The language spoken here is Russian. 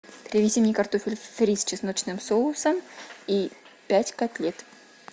привези мне картофель фри с чесночным соусом и пять котлет